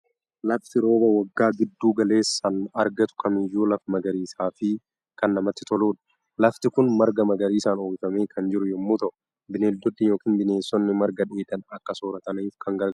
Lafti rooba waggaa gidduu galeessaan argatu kamiiyyuu lafa magariisaa fi kan namatti toludha. Lafti kun marga magariisaan uwwifamee kan jiru yommuu ta'u, bineeldonni yookiin bineensonni marga dheedan akka soorataniif kan gargaarudha.